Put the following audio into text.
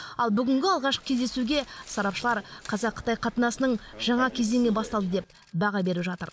ал бүгінгі алғашқы кездесуге сарапшылар қазақ қытай қатынасының жаңа кезеңі басталды деп баға беріп жатыр